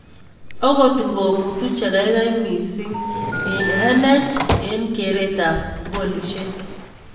Ogot ng'o mutu chegaigai mising en n.h.l en keret ab golishek